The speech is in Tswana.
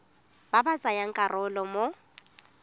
ba ba tsayang karolo mo